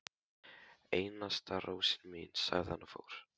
Einasta rósin mín, sagði hann og fór.